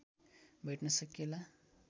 भेट्न सकिएला